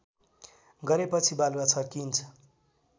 गरेपछि बालुवा छर्किइन्छ